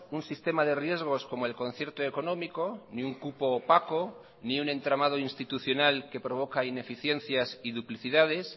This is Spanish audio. un sistema de riesgos como el concierto económico ni un cupo opaco ni un entramado institucional que provoca ineficiencias y duplicidades